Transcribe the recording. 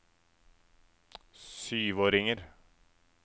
syvåringer